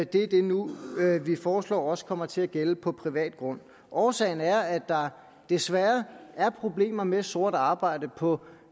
det er det vi nu foreslår også kommer til at gælde på privat grund årsagen er at der desværre er problemer med sort arbejde på